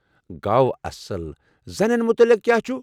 گوٚو اصٕل۔ زنٮ۪ن متعلق کیٛاہ چھُ؟